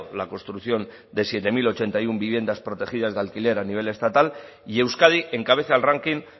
la construcción de siete mil ochenta y uno viviendas protegidas de alquiler a nivel estatal y euskadi encabeza el ranking